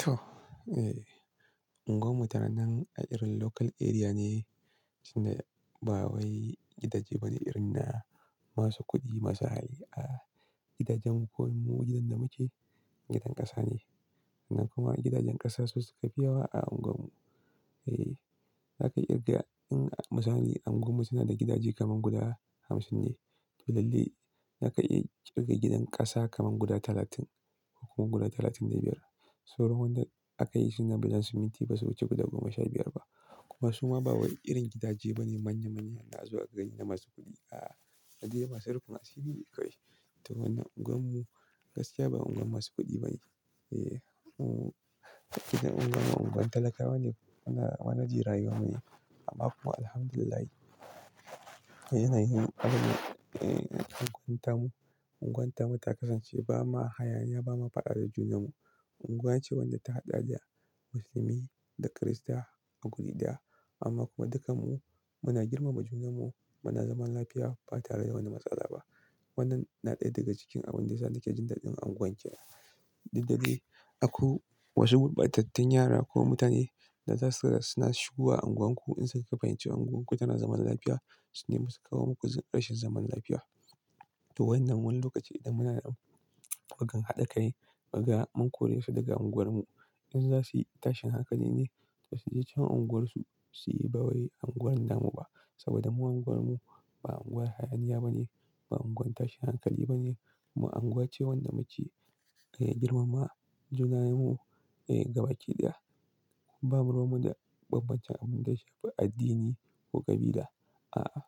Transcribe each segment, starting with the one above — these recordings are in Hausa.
To, eh, unguwar mu tana nan a irin local area ne, tunda ba wai gidaje bane irin na masu kuɗi masu hali. A gidajen unguwar mu gidan da muke, gidan ƙasa ne. Sa'annan kuma gidajen ƙasa su suka fi yawa a unguwar mu. E,, aka iya kirgawa in misali unguwar mu suna da gidaje kamar guda hamsin ne. Lallai zaka iya kirga gidan ƙasa kamar guda talatin ko kuma guda talatin da biyar. Sauran da aka yi su na bulon siminti ba su wuce guda goma sha biyar ba. Kuma su ma ba wai irin gidaje bane manya-manya na azo a gani na masu kuɗi. A, na dai masu rufin asiri ne kawai. To wannan unguwar mu gaskiya ba unguwar masu kuɗi bane. E, unguwar mu, gidajen unguwarmu unguwar talakawa ne. Muna gudanar da rayuwa ne. Amma kuma Alhamdulillah, yanayin abin, e, unguwar mu, unguwar mu ta kasance ba ma hayaniya ba ma faɗa da junan mu. Unguwa ce wadda ta haɗa da Musulmi da Kirista a wuri ɗaya. Amma kuma dukan mu muna girmama junan mu, muna zaman lafiya ba tare da wata matsala ba. Wannan na ɗaya daga cikin abin da yasa nake jin dadin unguwar ke. Dandalin akwai wasu gurbatattun yara ko mutane da zasu suna shigo wa unguwar ku in suka fahimci unguwar ku tana zaman lafiya, sune masu kawo muku ƙarshen zaman lafiya. To wannan wani lokaci idan muna da wajen haɗa kai, kaga mun kore su daga unguwarmu. Idan za su yi tashin hankali ne, to su je can unguwarsu, su yi ba wai unguwarmu ba. Saboda mu unguwarmu ba unguwar hayaniya ba ne, ba unguwar tashin hankali ba ne, kuma unguwar ce wadda muke, e, girmama junanmu, e, gabaki ɗaya. Babu ruwan mu da bambancen abin da ya shafi addini ko ƙabila. A, a.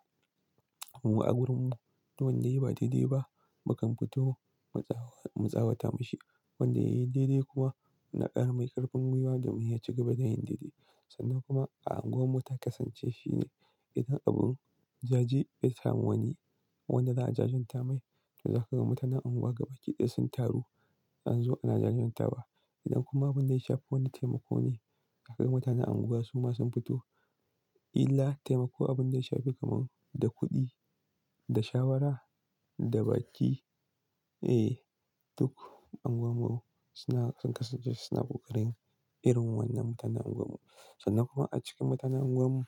Mu a wurin mu duk wanda yayi ba daidai ba, mukan fito mu tsawata masa. Wanda ya yi daidai kuwa, muna kara masa ƙarfin gwiwa domin ya ci gaba da yin daidai. Sannan kuma a unguwarmu ta kasance shine idan abun jaje ya samu wani, wanda za a jajenta masa, to za ka ga mutanen unguwa gaba ɗaya sun taru, an zo ana jajenta wa. Idan kuma abin da ya shafi wani taimako ne, za ka ga mutanen unguwa su ma sun fito illa taimako abin da ya shafi kamar da kuɗi, da shawara, da baki. E, duk unguwar mu suna sun kasance suna kokarin irin wannan mutanen unguwarmu. E, duk unguwar mu suna sun kasance suna kokarin irin wannan mutanen unguwarmu.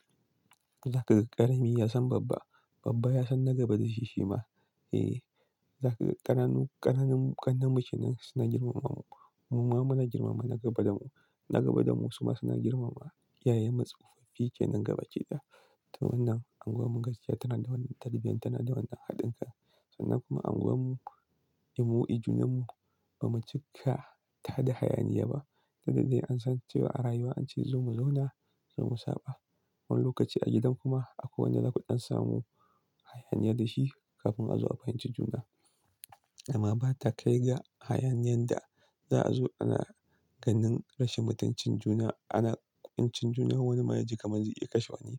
E, za ka ga ƙananu, ƙananu ƙannen mu kenan mutane suna girmamawa. Mu ma mu suna girmama na gaba da mu, na gaba da mu su ma suna girmama iyayenmu sofofi kenan gaba ɗaya. To wannan unguwar mu gaskiya tana da wani tarbiyya, tana da wani haɗin kai. Sannan kuma unguwar mu, mu i junan mu ba mu cika ta da hayaniya ba. Saboda an san cewa a rayuwa an ce zo mu zauna, zo mu saba. Wani lokaci a gidan kuma akwai wanda zaku ɗan samu hayaniya da shi kafin a zo a fahimci juna. Amma ba ta kai ga hayaniyan da za a zo ana ganin rashin mutuncin juna, ana mutuncin juna wani maye ji kaman zai iya kashe wani.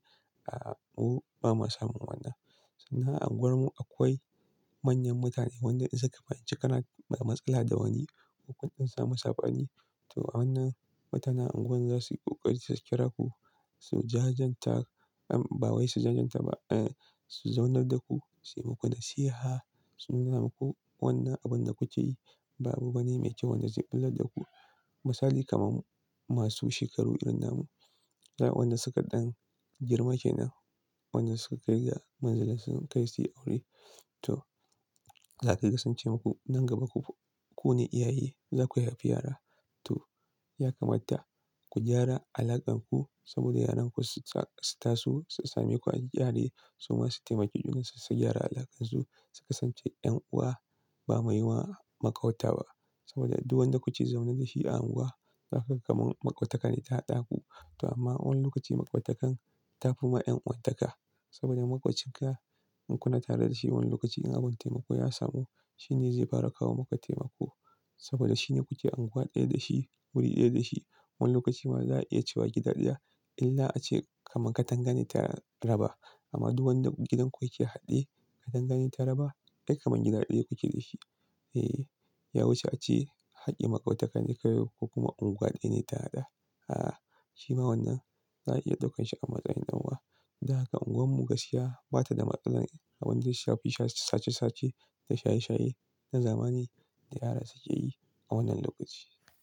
A, a, mu ba mu samu wannan. Sannan a unguwan mu akwai manyan mutane wanda in suka fahimci kana da matsala da wani ko kun ɗan samu sabani, to a wannan mutanen unguwar za su yi ƙoƙari su kira ku, su zaunar da ku, su yi muku nasiha, su nuna muku wannan abin da kuke yi ba abu ba ne mai kyau wanda zai bullar da ku. Misali kamar masu shekaru irin namu, waɗanda suka ɗan girma kenan, waɗanda suka kai ga matsayin sun kai su yi aure. To za ka ga sun ce muku, "Nan gaba ku ne iyaye, za ku haifi yara. To ya kamata ku gyara alaƙar ku saboda yaranku su taso su same ku a gyare su ma su taimaki juna su gyara alaƙar su, su kasance 'yan uwa ba wai makwabta ba. Saboda duk wanda kuke zaune da shi a unguwa, za ka ga kamar makwabtaka ne ta haɗa ku. To amma wani lokaci makwabtakar ta fi ma 'yan'uwantaka. Saboda maƙwabcinka in kuna tare da shi wani lokaci in abin taimako ya samu, shi ne zai fara kawo maka taimako. Saboda shi ne kuke unguwa ɗaya da shi, wuri ɗaya da shi. Wani lokaci ma za a iya cewa gida ɗaya illa ace kamar katanga ce ta raba. Amma duk wanda gidan ku yake haɗe, katanga ce ta raba, ai kamar gida ɗaya kuke da shi." E, ya wuce a ce haƙƙin makwabtaka ne kawai ko kuma unguwa ɗaya ne ta haɗa. A, a, shi ma wannan za a iya ɗaukan shi a matsayin ɗan'uwa. Dan haka unguwarmu gaskiya ba ta da matsalar abin da ya shafi sace-sace da shaye-shaye na zamani da yara suke yi a wannan lokaci.